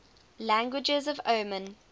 languages of oman